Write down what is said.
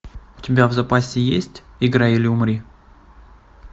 у тебя в запасе есть играй или умри